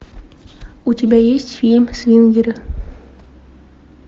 у тебя есть фильм свингеры